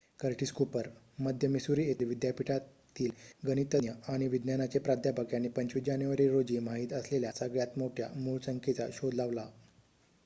Curtis Cooper मध्य Missouri येथील विद्यापीठातील गणितज्ज्ञ आणि विज्ञानाचे प्राध्यापक यांनी २५ जानेवारी रोजी माहीत असलेल्या सगळ्यात मोठ्या मूळसंख्येचा शोध लावला